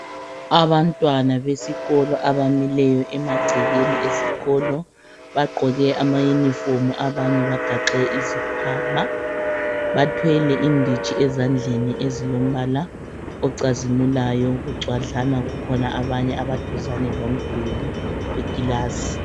abantwana besikolo abamileyo emagcekeni esikolo bagqoke ama uniform abanye bagaxe izikhwama bathwele inditshi ezandleni ezilombala ocazimulayo bucwadlana bakhona abanye abaduzane lomduli wekilasi